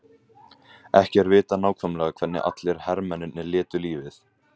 Ekki er vitað nákvæmlega hvernig allir hermennirnir létu lífið.